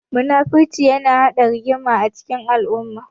Muna-furci yana haɗa rigima a cikin al'umma.